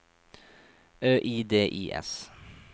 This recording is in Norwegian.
Ø I D I S